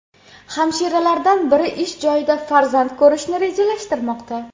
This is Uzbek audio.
Hamshiralardan biri ish joyida farzand ko‘rishni rejalashtirmoqda.